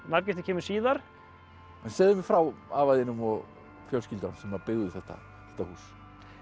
nafngiftin kemur síðar en segðu mér frá afa þínum og fjölskyldu hans sem byggðu þetta þetta hús